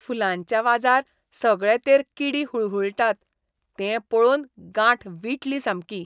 फुलांच्या व्हाजार सगळेतेर किडी हुळहूळटात तें पळोवन गांठ विटली सामकी.